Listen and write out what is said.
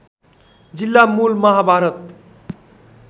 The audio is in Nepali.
जिल्ला मुल महाभारत